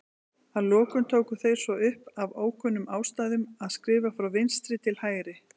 Að lokum tóku þeir svo upp, af ókunnum ástæðum, að skrifa frá vinstri til hægri.